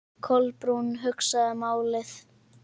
Kolbrún hugsaði málið.